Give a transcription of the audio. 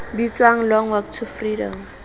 bitswang long walk to freedom